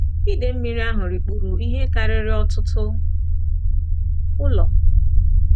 Ide mmiri ahụ rikpuru ihe karịrị ọtụtụ ụlọ.